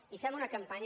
i fem una campanya